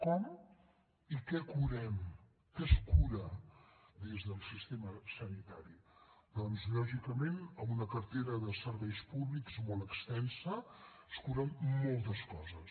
com i què curem què es cura des del sistema sanitari doncs lògicament amb una cartera de serveis públics molt extensa es curen moltes coses